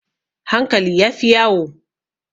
Hankali ya fi yawo.